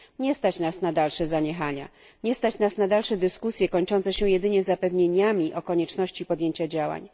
Nie stać nas na dalsze zaniechania, nie stać nas na dalsze dyskusje kończące się jedynie zapewnieniami o konieczności podjęcia działań.